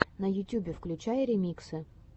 на ютюбе включай ремиксы